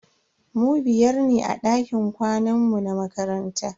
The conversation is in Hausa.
Mu biyar ne a dakin kwanan mu na makaranta.